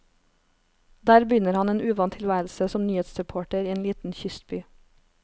Der begynner han en uvant tilværelse som nyhetsreporter i en liten kystby.